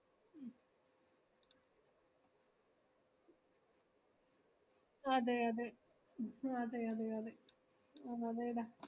അതെ അതെ ആഹ് അതെ അതെ അതെ അത് അതെടാ